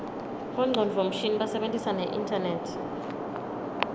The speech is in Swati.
bongcondvo mshini basebentisa neinternet